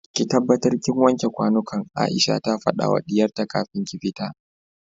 ki tabbatar kin wanke kwanukan Aisha ta fadawa diyarta kafin ki fita